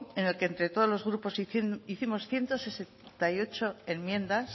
en el que entre todos los grupos hicimos ciento sesenta y ocho enmiendas